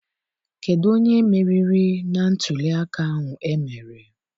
Kedụ onye meriri na ntụliaka ahụ emere?